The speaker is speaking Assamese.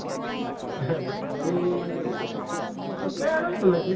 বাকী আছে আৰু তেনেকে